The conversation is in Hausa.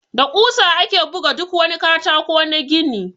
Da ƙusa ake buga duk wani katako na gini.